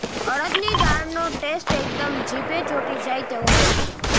અડદની દાળનો ટેસ્ટ એકદમ જીભે ચોંટી જાય તેવો હોય છે